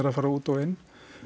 fara út og inn